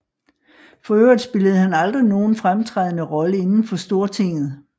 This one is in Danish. For øvrigt spillede han aldrig nogen fremtrædende Rolle inden for Stortinget